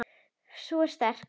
Sú er sterk, maður!